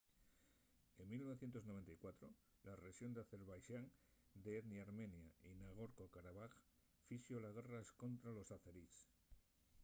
en 1994 la rexón d’azerbaixán d’etnia armenia de nagorno-karabaj fixo la guerra escontra los azerís